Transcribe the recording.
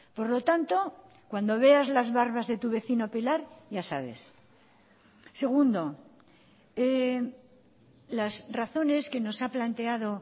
por lo tanto cuando veas las barbas de tu vecino pelar ya sabes segundo las razones que nos ha planteado